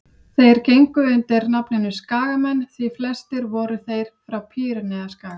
þeir gengu undir nafninu skagamenn því flestir voru þeir frá pýreneaskaga